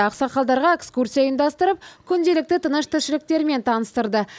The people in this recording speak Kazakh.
ақсақалдарға экскурсия ұйымдастырып күнделікті тыныс тіршіліктерімен таныстырды